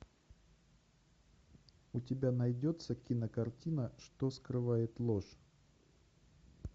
у тебя найдется кинокартина что скрывает ложь